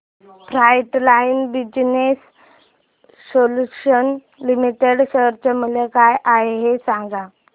frontline business solutions limited share चे मूल्य काय आहे हे सांगा